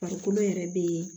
Farikolo yɛrɛ be